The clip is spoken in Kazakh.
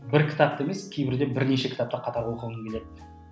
бір кітапты емес кейбірде бірнеше кітапты қатар оқығым келеді